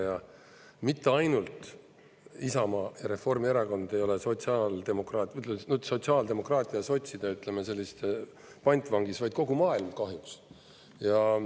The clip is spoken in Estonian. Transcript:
Ja mitte ainult Isamaa ja Reformierakond ei ole sotsiaaldemokraatia ja sotside pantvangis, vaid kogu maailm, kahjuks.